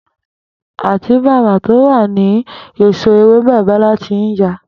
Àtíbàbà tí ó wà ní ìsò̩ ewébè Bó̩lá ti ń ya